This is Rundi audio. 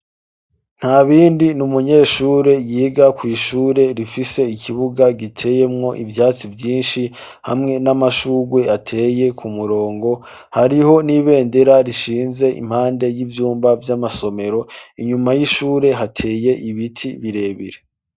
Nta bindi ni umunyeshure yiga ku ishure rifise ikibuga giteyemwo ivyatsi vyinshi hamwe n'amashugwe ateye ku murongo hariho n'ibendera rishinze impande y'ivyumba vy'amasomero inyuma y'ishure hateye ibiti birebire.